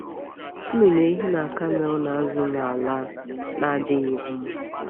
Nnụnụ ehi na kamel na-azụ n’ala a na-adịghị mma.